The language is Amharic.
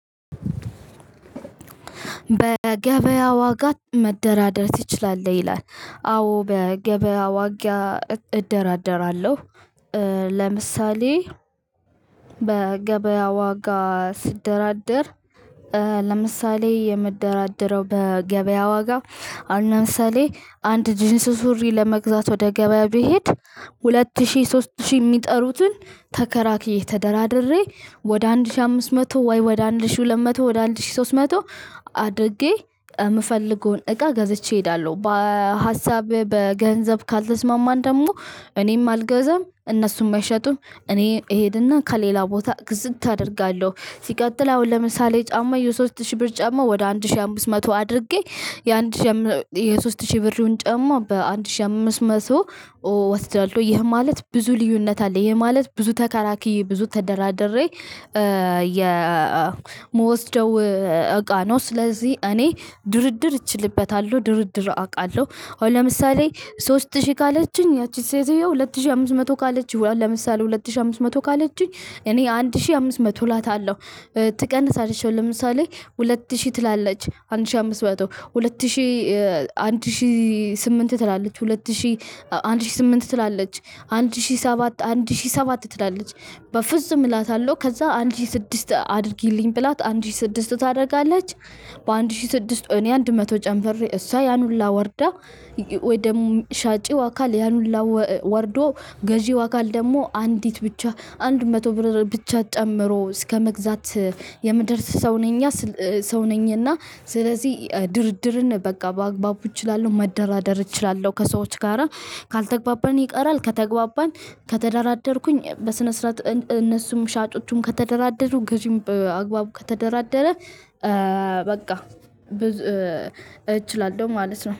በገበያ ዋጋ መደራደር ትችላለህ? ይላል። አዎ! በገበያ ዋጋ እደራደራለሁ። ለምሳሌ በገበያ ዋጋ ስደራደር ለምሳሌ የምደራደረው በገበያ ዋጋ አሁን ለምሳሌ አንድ ጂንስ ሱሪ ለመግዛት ወደ ገበያ ብሄድ ሁለት ሺህ፣ ሶስት ሺህ የሚጠሩትን ተከራክሬ፣ ተደራድሬ ወደ አንድ ሺህ አምስት መቶ ወይ ወደ አንድ ሺህ ሁለት መቶ፣ ወደ አንድ ሺህ ሶስት መቶ አድርጌ የምፈልገውን እቃ ገዝቼ እሄዳለሁ። በሀሳብ በገንዘብ ካልተስማማን ደግሞ እኔም አልገዛም፤ እነሱም አይሸጡም፤ እኔ እሄድና ከሌላ ቦታ ግዝት አደርጋለሁ። ሲቀጥል አሁን ለምሳሌ ጫማ የሶስት ሺህ ብር ጫማ ወደ አንድ ሺህ አምስት መቶ አድርጌ የአንድ ሺህ የሶስት ሺህ ብሩን ጫማ በአንድ ሺህ አምስት መቶ እወስዳለሁ። ይህ ማለት ብዙ ልዩነት አለ፤ ይሄ ማለት ብዙ ተከራክሬ፤ ብዙ ተደራድሬ የምወስደው እቃ ነው። ስለዚህ እኔ ድርድር እችልበታለሁ፤ ድርድር አውቃለሁ። አሁን ለምሳሌ ሶስት ሺህ ካለችኝ ያቺ ሴትዮ ሁለት ሺህ አምስት መቶ ካለችኝ በኋላ ለምሳሌ ሁለት ሺህ አምስት መቶ ካለችኝ እኔ አንድ ሺህ አምስት መቶ እላታለሁ። ትቀንሳለች አሁን ለምሳሌ ሁለት ሺህ ትላለች፤ አንድ ሺህ አምስት መቶ፤ ሁለት ሺህ አንድ ሺህ ስምንት ትላለች፤ ሁለት ሺህ አንድ ሺህ ስምንት ትላለች፤ አንድ ሺህ ሰባት አንድ ሺህ ሰባት ትላለች። በፍጹም እላታለሁ፤ ከዛ አንድ ሺህ ስድስት አድርጊልኝ ብላት፤ አንድ ሺህ ስድስት ታደርጋለች። በአንድ ሺህ ስድስት እኔ አንድ መቶ ጨምሬ እሷ ያን ሁላ ወርዳ ወይ ደግሞ ሻጭው አካል ያን ሁላ ወርዶ ገዢው አካል ደግሞ አንዲት ብቻ አንድ መቶ ብር ብቻ ጨምሮ እስከመግዛት የምደርስ ሰው ነኛ ሰው ነኝ እና ስለዚህ ድርድርን በቃ በአግባቡ እችላለሁ፤ መደራደር እችላለሁ ከሰዎች ጋራ ካልተግባባን ይቀራል፤ ከተግባባን ከተደራደርኩኝ በስነ ስርዓት እነሱም ሻጮቹም ከተደራደሩ ገዢም በአግባቡ ከተደራደረ በቃ እችላለሁ ማለት ነው።